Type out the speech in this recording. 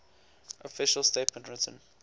official statement written